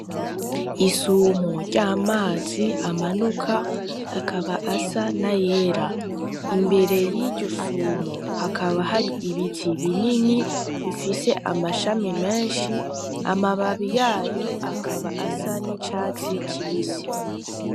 Isumo ry'amazi amanuka, akaba asa n'ayera. Imbere y'iryo sumo hakaba hari ibiti binini, bifise amashami menshi. Amababi yayo akaba asa n'icatsi kibisi.